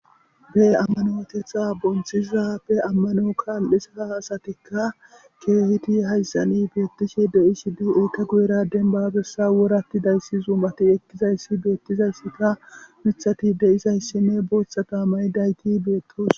be ammanotetha bonthizappe ammano kaal7esea hasatikka keehiti hayssani beettishe de7ishidey eita guyera denbabessa wuratti dayssi zuumati ekkizayssi beettizayssika mithati de izayssi ne booththata may dayki beettos